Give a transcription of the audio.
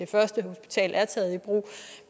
første hospital er taget i brug